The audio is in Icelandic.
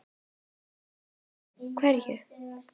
Karen: Hverju?